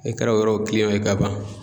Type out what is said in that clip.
E kɛra o yɔrɔ ye ka ban.